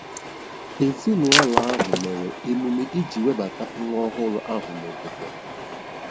Ezinụlọ ahụ mere emume iji webata nwa ọhụrụ ahụ n'obodo ha.